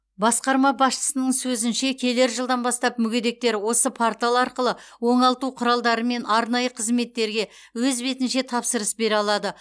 басқарма басшысының сөзінше келер жылдан бастап мүгедектер осы портал арқылы оңалту құралдары мен арнайы қызметтерге өз бетінше тапсырыс бере алады